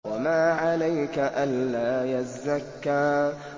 وَمَا عَلَيْكَ أَلَّا يَزَّكَّىٰ